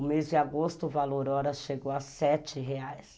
O mês de agosto, o valor hora chegou a sete reais.